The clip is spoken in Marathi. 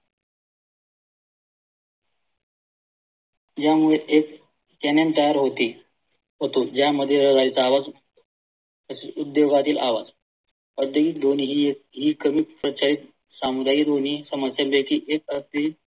या मुळे एक channel तयार होते व ते या मध्ये गाडी चा आवाज तसेच उद्योगातील आवाज ध्वनी हि हि कमी समुदाय ध्वनी एक